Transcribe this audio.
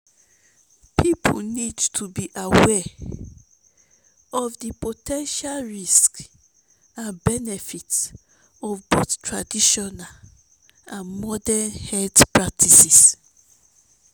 people need to be aware of di po ten tial risks and benefits of both traditional and morden health practices.